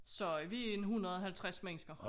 Så vi en 150 mennesker